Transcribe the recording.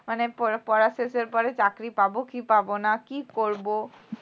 মানে প পড়া শেষের পরে চাকরি পাব কি পাব না কী করব